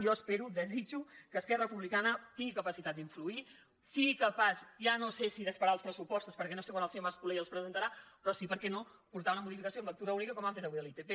jo espero desitjo que esquerra republicana tingui capacitat d’influir sigui capaç ja no sé si d’esperar els pressupostos perquè no sé quan el senyor mas colell els presentarà però sí per què no de portar una modificació amb lectura única com han fet avui amb l’itp